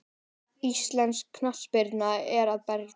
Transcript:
Íslensk knattspyrna er að breytast.